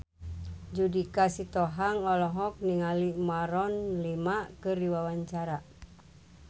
Judika Sitohang olohok ningali Maroon 5 keur diwawancara